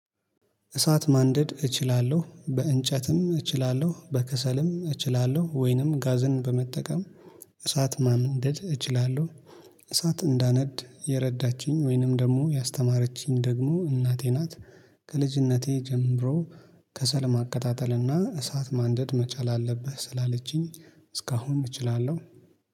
እሳት ማንደድ እችላለሁ። በእንጨትም እችላለሁ። በከሰልም እችላለሁ ወይንም ጋዝን በመጠቀም እሳት ማንደድ እችላለሁ። እሳት እንዳነድ የረዳችኝ ወይንም ደግሞ ያስተማረችኝ ደግሞ እናቴ ናት። ከልጅነቴ ጀምሮ ከሰል ማቀጣጠልና እሳት ማንደድ መቻል አለብህ ስላለችኝ እስካሁን እችላለሁ።